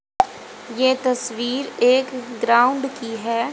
ये तस्वीर एक ग्राउंड की है।